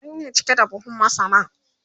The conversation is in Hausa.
ƙwari ne cike da buhun masaran